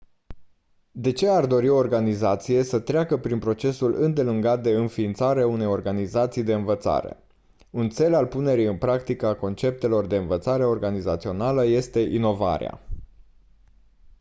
de ce ar dori o organizație să treacă prin procesul îndelungat de înființare a unei organizații de învățare un țel al punerii în practică a conceptelor de învățare organizațională este inovarea